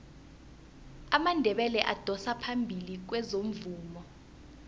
amandebele adosa phambili kwezomvumo